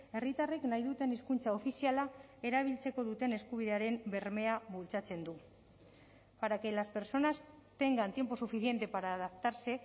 herritarrek nahi duten hizkuntza ofiziala erabiltzeko duten eskubidearen bermea bultzatzen du para que las personas tengan tiempo suficiente para adaptarse